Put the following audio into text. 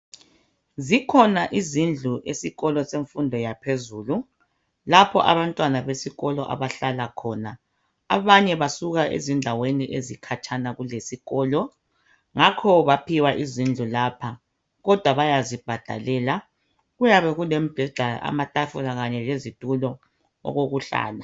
Zikhona izndlu esikolo semfundo yaphezulu lapho abantwana besikolo abahlala khona. Abanye basuka ezindaweni ezikhatshana lesikolo ngakho baphiwa izindlu lapha kodwa bayazibhadalela. Kuyabe kulemibheda, amatafula kanye lezitulo okokuhlala.